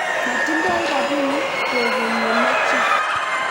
moting'doi robinik kwekeny ye mechei